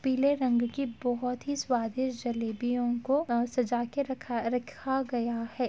पीले रंग की बोहोत ही स्वादिष्ट जलेबियो को आ सजा के रखा रखा गया है।